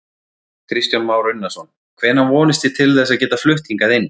Kristján Már Unnarsson: Hvenær vonist þið til þess að geta flutt hingað inn?